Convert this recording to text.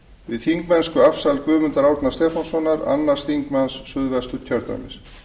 við þingmennskuafsal guðmundar árna stefánssonar annar þingmaður suðvesturkjördæmis